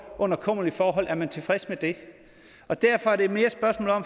under kummerlige forhold er man tilfreds med det derfor er det